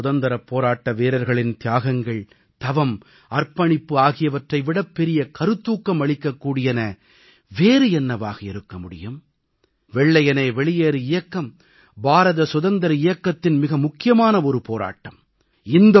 நமது சுதந்திரப் போராட்ட வீரர்களின் தியாகங்கள் தவம் அர்ப்பணிப்பு ஆகியவற்றை விடப் பெரிய கருத்தூக்கம் அளிக்கக் கூடியன வேறு என்னவாக இருக்க முடியும் வெள்ளையனே வெளியேறு இயக்கம் பாரத சுதந்திர இயக்கத்தின் மிக முக்கியமான போராட்டம்